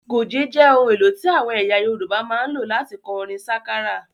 Goge jẹ ohun èlò orin tí àwọn ẹyà Yorùbá máa ń lò láti kọ orin sákárà